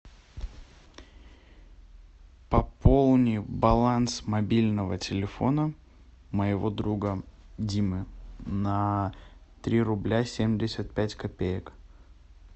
пополни баланс мобильного телефона моего друга димы на три рубля семьдесят пять копеек